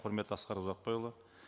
құрметті асқар ұзақбайұлы